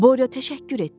Borya təşəkkür etdi.